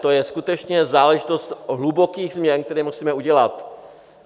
To je skutečně záležitost hlubokých změn, které musíme udělat.